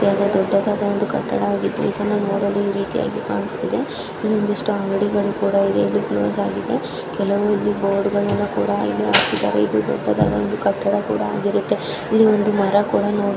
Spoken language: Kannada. ದೊಡ್ಡದಾದ ಕಟ್ಟಡವಾಗಿದ್ದು ಇದನ್ನು ನೋಡಲು ಈ ರೀತಿಯಾಗಿ ಕಾಣಿಸುತ್ತಾ ಇದೆ ಎಷ್ಟು ಅಂಗಡಿಗಳು ಕೂಡ ಇದೆ ಇದು ಕ್ಲೋಸ್ ಆಗಿದೆ ಕೆಲವು ಇಲ್ಲಿ ಬೋರ್ಡ್‌ಗಳನ್ನು ಕೂಡ ಇಲ್ಲಿ ಹಾಕಿದ್ದಾರೆ ಇದು ಒಂದು ದೊಡ್ಡದಾದ ಕಟ್ಟಡ ಕೂಡ ಆಗಿರುತ್ತದೆ ಇಲ್ಲಿ ಒಂದು ಮರ ಕೂಡ ನೋಡೋ __